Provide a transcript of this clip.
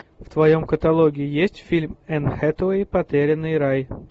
в твоем каталоге есть фильм энн хэтэуэй потерянный рай